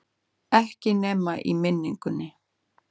Ekki nema í minningunni.